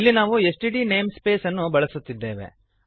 ಇಲ್ಲಿ ನಾವು STD namespace ಅನ್ನು ಬಳಸುತ್ತಿದ್ದೆವೆ